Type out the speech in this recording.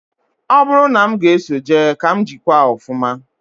Ọ bụrụ na m ga-eso jee, ka m jikwaa ọfụma